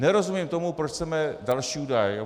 Nerozumím tomu, proč chceme další údaje.